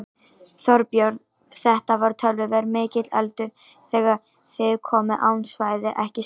Þorbjörn: Þetta var töluvert mikill eldur þegar þið komuð á svæðið ekki satt?